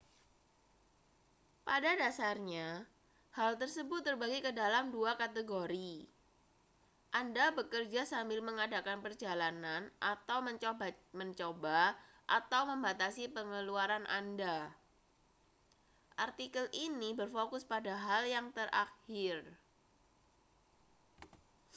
pada dasarnya hal tersebut terbagi ke dalam dua kategori anda bekerja sambil mengadakan perjalanan atau mencoba mencoba atau membatasi pengeluaran anda artikel ini berfokus pada hal yang terakhir